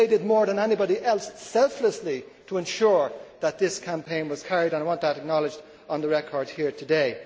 They did more than anybody else selflessly to ensure that this campaign was carried and I want that acknowledged on the record here today.